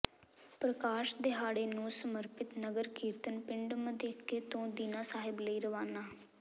ਪ੍ਰਕਾਸ਼ ਦਿਹਾੜੇ ਨੂੰ ਸਮਰਪਿਤ ਨਗਰ ਕੀਰਤਨ ਪਿੰਡ ਮਧੇਕੇ ਤੋਂ ਦੀਨਾ ਸਾਹਿਬ ਲਈ ਰਵਾਨਾ